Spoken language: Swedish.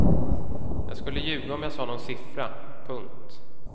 Jag skulle ljuga om jag sa nån siffra. punkt